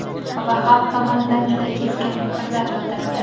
Va xalq tomonidan juda keskin fikrlar bildirildi.